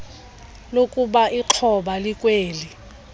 lakuba ixhoba likweli